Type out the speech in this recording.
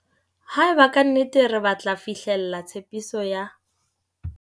Haeba ka nnete re batla fihlella tshepiso ya